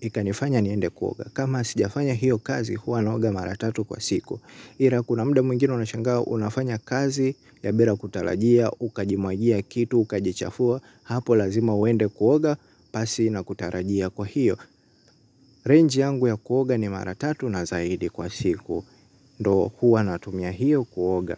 ikanifanya niende kuoga. Kama sijafanya hiyo kazi huwa naoga mara tatu kwa siku. Ila kuna muda mwingine nashangaa unafanya kazi ya bila kutarajia ukajimwagia kitu ukajichafua hapo lazima uende kuoga pasi na kutarajia kwa hiyo. Range yangu ya kuoga ni mara tatu na zaidi kwa siku, ndiyo huwa natumia hiyo kuoga.